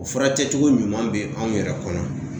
O furakɛ cogo ɲuman be anw yɛrɛ kɔnɔ .